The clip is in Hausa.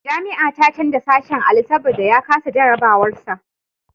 Jami'a ta canja sashen Ali saboda ya kasa jarabawar sa.